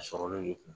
A sɔrɔlen de kun